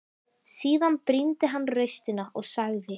Síðan brýndi hann raustina og sagði